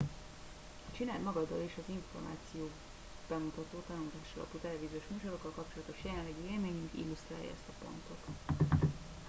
a csináld magaddal és az információ bemutató tanulásalapú televíziós műsorokkal kapcsolatos jelenlegi élményünk illusztrálja ezt a pontot